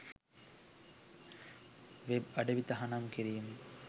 web අඩවි තහනම් කිරීම